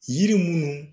Yiri munnu